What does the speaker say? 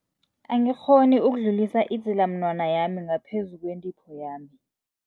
Angikghoni ukudlulisa idzilamunwana yami ngaphezu kwentipho yami.